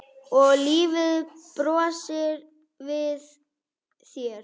Og lífið brosir við þér!